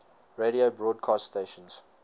radio broadcast stations